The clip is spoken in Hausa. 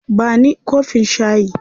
Ba ni kofin shayi.